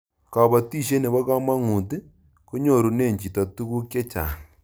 kabatishet nebo kamangut ko nyorune chito tuguk chechang